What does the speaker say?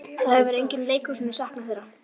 Það hefur enginn í leikhúsinu saknað þeirra.